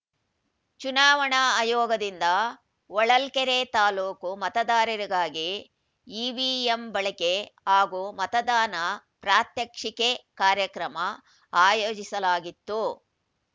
ಚುನಾವಣಾ ಆಯೋಗದಿಂದ ಹೊಳಲ್ಕೆರೆ ತಾಲೂಕು ಮತದಾರರಿಗಾಗಿ ಇವಿಎಂ ಬಳಕೆ ಹಾಗೂ ಮತದಾನ ಪ್ರಾತ್ಯಕ್ಷಿಕೆ ಕಾರ್ಯಕ್ರಮ ಆಯೋಜಿಸಲಾಗಿತ್ತು